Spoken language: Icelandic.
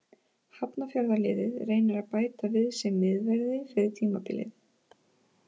Hafnarfjarðarliðið reynir að bæta við sig miðverði fyrir tímabilið.